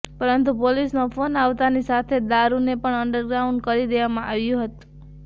પરંતુ પોલીસનો ફોન આવતાની સાથે જ દારૂને પણ અંડરગ્રાઉન્ડ કરી દેવામાં આવ્યુ હતં